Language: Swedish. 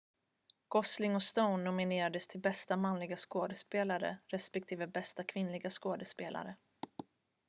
gosling och stone nominerades till bästa manliga skådespelare respektive bästa kvinnliga skådespelare